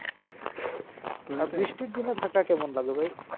দিনে ঢাকা কেমন লাগে ভাই?